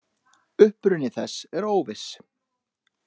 Uppruni þess er óviss.